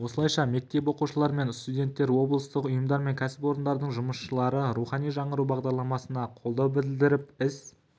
осылайша мектеп оқушылары мен студенттер облыстық ұйымдар мен кәсіпорындардың жұмысшылары рухани жаңғыру бағдарламасына қолдау білдіріп іс